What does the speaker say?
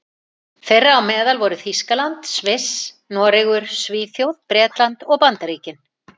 Þeirra á meðal voru Þýskaland, Sviss, Noregur, Svíþjóð, Bretland og Bandaríkin.